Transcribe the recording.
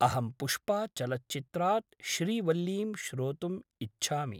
अहं पुष्पाचलच्चित्रात् श्रीवल्लीं श्रोतुम् इच्छामि।